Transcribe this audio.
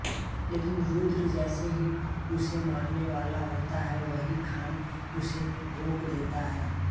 लेकिन रुद्र जैसे ही उसे मारने वाला होता है वली खान उसे रोक देता है